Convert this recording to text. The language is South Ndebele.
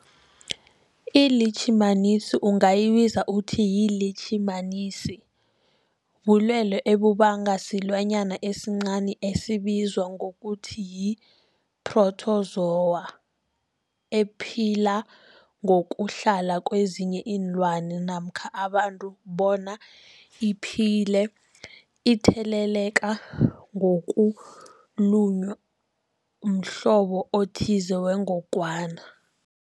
ILitjhimanisi ungayibiza uthiyilitjhimanisi, bulwelwe obubangwa silwanyana esincani esibizwa ngokuthiyi-phrotozowa ephila ngokuhlala kezinye iinlwana namkha abantu bona iphile itheleleka ngokulunywa mhlobo othize wengogwana.